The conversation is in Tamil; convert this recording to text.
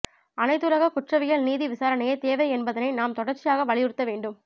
அனைத்துலக குற்றவியல் நீதி விசாரணையே தேவை என்பதனை நாம் தொடர்சியாக வலியுறுத்த வேண்டும்